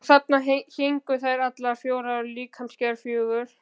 Og þarna héngu þær, allar fjórar af líkamsgerð fjögur.